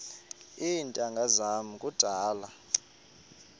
iintanga zam kudala